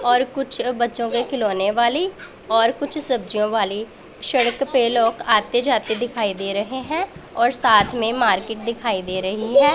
और कुछ बच्चों के खिलौने वाली और कुछ सब्जियों वाली सड़क पे लोग आते जाते दिखाई दे रहे हैं और साथ में मार्केट दिखाई दे रही है।